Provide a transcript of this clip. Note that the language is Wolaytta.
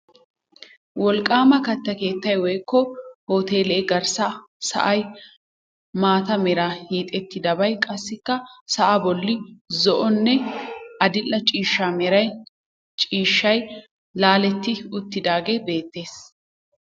Wolqqaama katta keettay woykko uuteelee garssa sa'ay maata meran hiixettidabay qassikka sa'aa bolli zo"onne adil"e ciishsha mera ciishshay laaletti uttidaagee beettees.